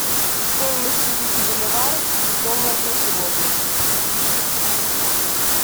стоимость тысячи боливаров в долларах на сегодня